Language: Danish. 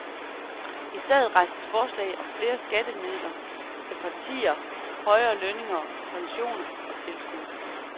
I stedet rejses forslag om flere skatteydermidler til partierne, højere lønninger, pensioner og tilskud.